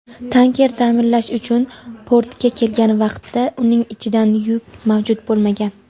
tanker ta’mirlash uchun portga kelgan vaqtda uning ichidan yuk mavjud bo‘lmagan.